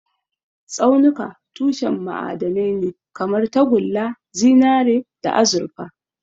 Tsaunuka tushen ma'adanai ne kamar tagulla, zinare, da azurfa.